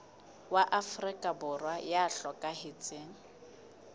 wa afrika borwa ya hlokahetseng